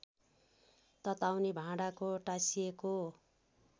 तताउने भाँडाको टाँसिएको